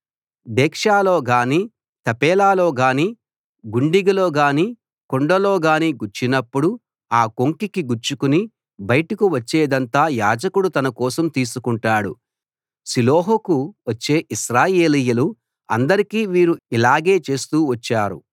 డేక్సాలో గాని తపేలాలో గాని గుండిగలో గాని కుండలో గాని గుచ్చినపుడు ఆ కొంకికి గుచ్చుకుని బయటకు వచ్చేదంతా యాజకుడు తన కోసం తీసుకొంటాడు షిలోహుకు వచ్చే ఇశ్రాయేలీయులు అందరికీ వీరు ఇలాగే చేస్తూ వచ్చారు